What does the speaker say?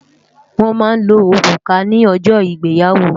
Wòn má n ló órúkà ni òjò igbéyàwó